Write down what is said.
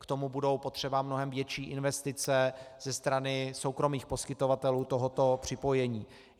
K tomu budou potřeba mnohem větší investice ze strany soukromých poskytovatelů tohoto připojení.